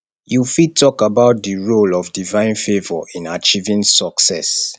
you fit talk about di role of divine favor in achieving success